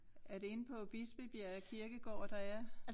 Er det inde på Bispebjerg Kirkegår der er?